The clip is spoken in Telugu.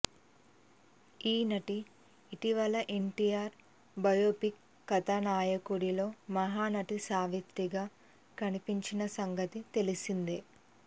ఈ నటి ఇటీవల ఎన్టీఆర్ బయోపిక్ కథానాయకుడులో మహానటి సావిత్రిగా కనిపించిన సంగతి తెలిసిందే